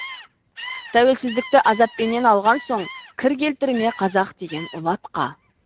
тәуелсіздікті азаппенен алған соң кір келтірме қазақ деген ұлы атқа